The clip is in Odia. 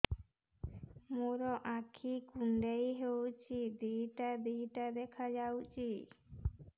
ମୋର ଆଖି କୁଣ୍ଡାଇ ହଉଛି ଦିଇଟା ଦିଇଟା ଦେଖା ଯାଉଛି